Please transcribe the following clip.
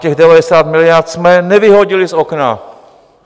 Těch 90 miliard jsme nevyhodili z okna.